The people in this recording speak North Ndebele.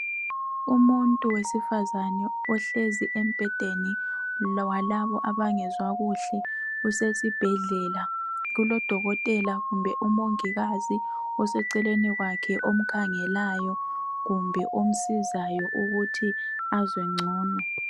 umuntu owesifazana ohlezi embhedeni walabo abangezwa kuhle usesibhedlela kulodokotela kumbe umongikazi oseceleni kwakhe omkhangelayo kumbe omsizayo ukuthi azwe ncono